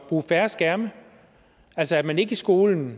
bruge færre skærme altså at man i skolen